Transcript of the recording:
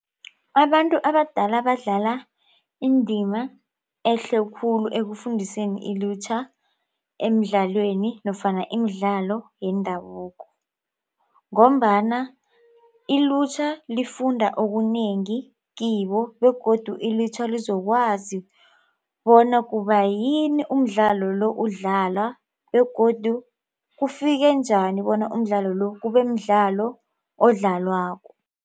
Abantu abadala badlala indima ehle khulu ekufundiseni ilutjha emidlalweni nofana imidlalo yendabuko. Ngombana ilutjha lifunda okunengi kibo begodu ilutjha lizokwazi bona kubayini umdlalo lo udlalwa begodu kufike njani bona umdlalo lo kubemdlalo odlalwako.